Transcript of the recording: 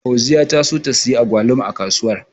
Fauziya ta so ta siyi Agwaluma a kasuwar.